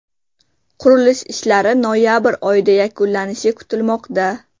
Qurilish ishlari noyabr oyida yakunlanishi kutilmoqda.